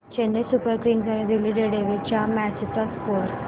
Chennai super kings आणि Delhi daredevils च्या match चा स्कोअर